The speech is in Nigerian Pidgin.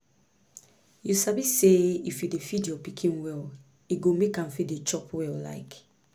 you sabi say if you dey feed your pikin well e go make am fit dey chop well like